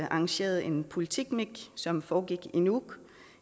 arrangeret en politikmik som foregik i nuuk